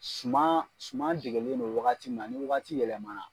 Suma suma degelen do wagati min na ni wagati yɛlɛma na.